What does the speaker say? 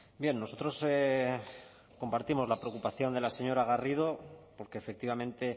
bien nosotros compartimos la preocupación de la señora garrido porque efectivamente